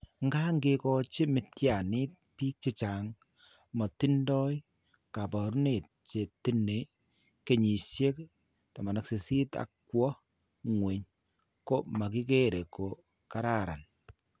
Nkaa, ke kochi mityaaniik biik che motindo kaabarunet che tindo kenyisiek 18 ak kwo ng'weny ko makikere ko kararan.